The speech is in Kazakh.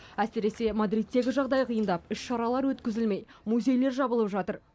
әсіресе мадридтегі жағдай қиындап іс шаралар өткізілмей музейлер жабылып жатыр